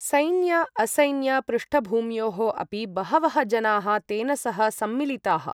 सैन्य असैन्य पृष्ठभूम्योः अपि बहवः जनाः तेन सह सम्मिलिताः।